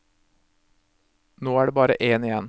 Nå er det bare én igjen.